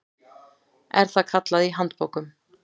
er það kallað í handbókum.